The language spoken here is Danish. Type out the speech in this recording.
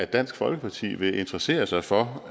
dansk folkeparti vil interessere sig for